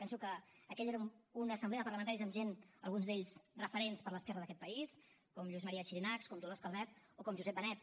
penso que aquella era una assemblea de parlamentaris amb gent alguns d’ells referents per a l’esquerra d’aquest país com lluís maria xirinacs com dolors calvet o com josep benet